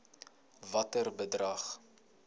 watter bedrag